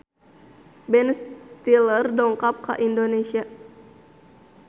Ben Stiller dongkap ka Indonesia